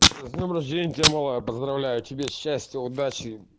с днём рождения тебя малая поздравляю тебя счастья удачи